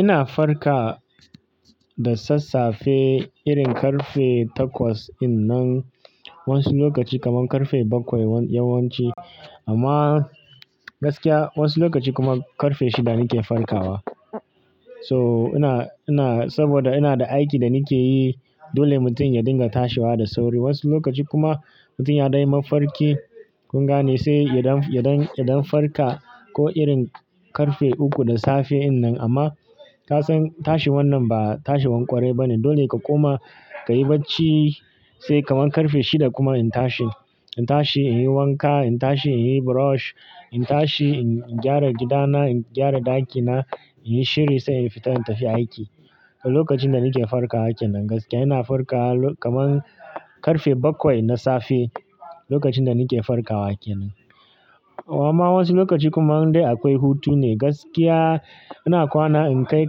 Ina farka da sassafe irin karfe takwas in nan. Wasu lokaci kamar karfe bakwai yawanci. Amma gaskiya wasu lokaci kuma karfe shida nike farkawa. So ina, ina, saboda ina da aiki da nike yi dole mutum ya dinga tashewa da sauri. Wasu lokaci kuma mutum ya dan yi mafarki kun gane sai idan, idan, idan farka ko irin karfe uku da safe in nan. Amma kasan tashi wannan ba tashi wan kwarai ba ne. Dole ka koma, ka yi bacci sai kamar karfe shida kuma in tashi. In tashi in yi wanka, in tashi in yi brush, in tashi in gyara gidana, in gyara ɗakina, in yi shiri sai in fita in tafi aiki. Lokacin da nike farkawa kenan gaskiya ina farka kamar karfe bakwai na safe lokacin da nike farkawa kenan. Amma wasu lokaci kuma in dai akwai hutu ne gaskiya ina kwana in kai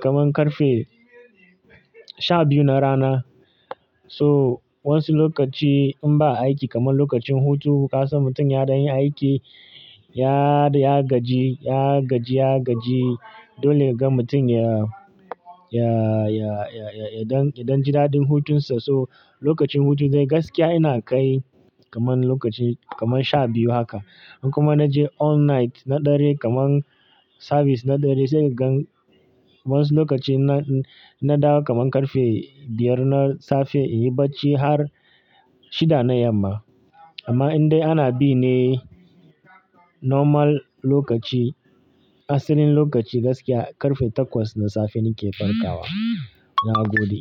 kamar karfe sha biyu na rana. So wasu lokaci in ba aiki kamar lokacin hutu kasan mutum ya dai yin aiki, ya ya gaji, ya gaji, ya gaji. Dole ka ga mutum ya, ya, ya, ya, ya, idan, idan ji dadin hutunsa. So lokacin hutu dai gaskiya ina kai kamar lokaci kamar sha biyu haka. In kuma naje all night na dare kamar service na ɗare sai kagan wayansu lokaci na, na dawo kamar karfe biyar na safe, in yi bacci har shida na yamma. Amma in dai ana bi ne normal lokaci, asalin lokaci gaskiya karfe takwas na safe nike farkawa. Na gode.